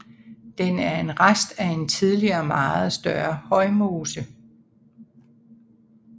Den er en rest af en tidligere meget større højmose